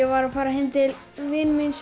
var að fara heim til vinar míns